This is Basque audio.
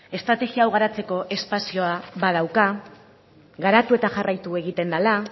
estrategia hau garatzeko espazioa badauka garatu eta jarraitu egiten dela